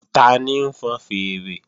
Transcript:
Tani ń fọn fèèrè?